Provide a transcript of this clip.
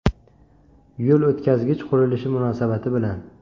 Yo‘l o‘tkazgich qurilishi munosabati bilan.